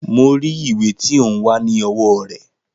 Mo rí ìwé tí ó ń wá ní owó rè